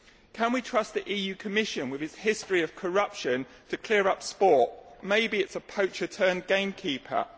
Can we trust the EU Commission, with its history of corruption, to clear up sport? Maybe it is a poacher turned gamekeeper'.